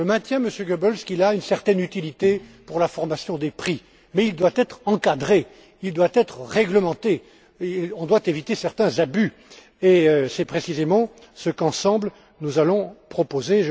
Je maintiens, Monsieur Goebbels, qu'il a une certaine utilité pour la formation des prix mais il doit être encadré et réglementé. On doit éviter certains abus. C'est précisément ce qu'ensemble nous allons proposer.